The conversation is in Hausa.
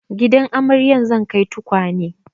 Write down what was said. Gidan amaryar zan kai tukwanen